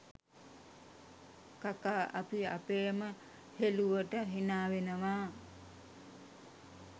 කකාඅපි අපේම හෙලුවට හිනා වෙනවා.